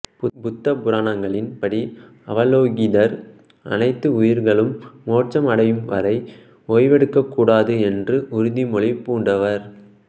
புத்த புராணங்களின் படி அவலோகிதர் அனைத்து உயிர்களும் மோட்சம் அடையும் வரை ஒய்வெடுக்கக்கூடாது என்ற உறுதிமொழி பூண்டவர்